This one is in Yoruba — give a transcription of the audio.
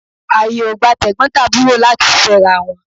Àyè ò gba Tẹ̀gbọ́n tàbúrò láti fẹ́ra wọn.